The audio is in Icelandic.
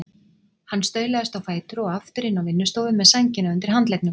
Hann staulaðist á fætur og aftur inn á vinnustofu með sængina undir handleggnum.